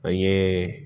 An ye